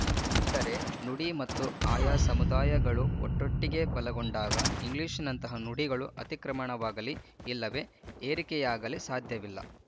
ಅಂದರೆ ನುಡಿ ಮತ್ತು ಆಯಾ ಸಮುದಾಯಗಳು ಒಟ್ಟೊಟ್ಟಿಗೆ ಬಲಗೊಂಡಾಗ ಇಂಗ್ಲಿಶಿನಂತಹ ನುಡಿಗಳ ಅತಿಕ್ರಮಣವಾಗಲಿ ಇಲ್ಲವೇ ಹೇರಿಕೆಯಾಗಲಿ ಸಾಧ್ಯವಿಲ್ಲ